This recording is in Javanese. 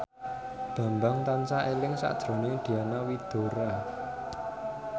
Bambang tansah eling sakjroning Diana Widoera